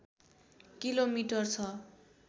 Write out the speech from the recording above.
kilometre छ